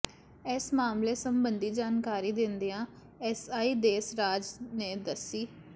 ਇਸ ਮਾਮਲੇ ਸਬੰਧੀ ਜਾਣਕਾਰੀ ਦਿੰਦਿਆਂ ਐਸਆਈ ਦੇਸ ਰਾਜ ਨੇ ਦਸਿ